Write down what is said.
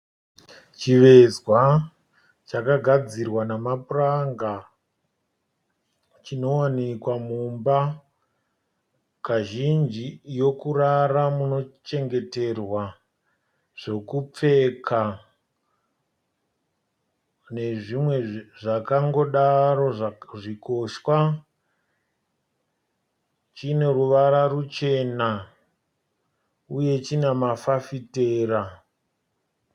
Chivezwa chakagadzirwa nemapuranga chinowanika mumba kazhinji yokurara munochengeterwa zvokupfeka nezvimwe zvakangodaro zvikoshwa. Chine ruvara ruchena uye chine mafafitera.